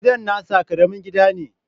Gidan nasa Karamin gida ne